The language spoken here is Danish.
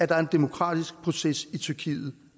der er en demokratisk proces i tyrkiet